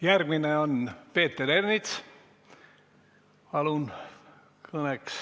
Järgmine on Peeter Ernits, palun!